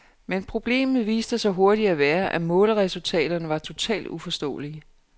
Men problemet viste sig hurtigt at være, at måleresultaterne var totalt uforståelige.